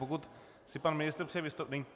Pokud si pan ministr přeje vystoupit...